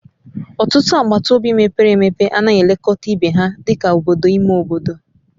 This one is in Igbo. Ọtụtụ agbata obi mepere emepe anaghị elekọta ibe ha dị ka obodo ime obodo